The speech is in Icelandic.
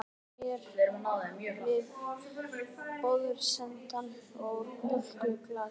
Ég tyllti mér við borðsendann með mjólkurglas.